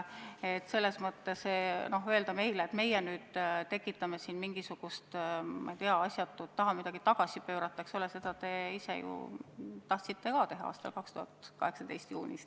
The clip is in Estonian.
Öelda nüüd meile, et meie tekitame siin mingisugust asjatut segadust ja tahame midagi tagasi pöörata – aga seda te ju ise tahtsite ka teha 2018. aasta juunis.